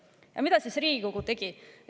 Ja mida Riigikogu tegi?